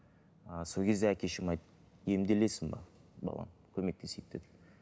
ы сол кезде әкем шешем айтты емделесің бе балам көмектесейік деді